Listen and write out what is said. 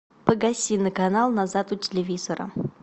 погаси на канал назад у телевизора